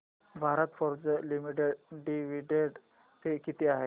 Bharat Forge limited dividend pay किती आहे